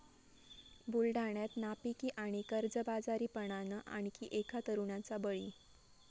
बुलडाण्यात नापिकी आणि कर्जबाजारीपणानं आणखी एका तरुणाचा बळी